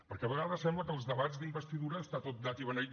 perquè a vegades sembla que als debats d’investidura està tot dat i beneït